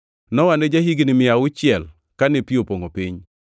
Nowa ne ja-higni mia auchiel kane pi opongʼo piny.